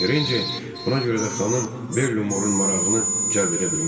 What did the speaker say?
Terecini buna görə də xanım Belli Morun marağını cəlb edə bilmişdi.